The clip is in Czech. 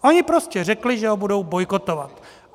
Oni prostě řekli, že ho budou bojkotovat.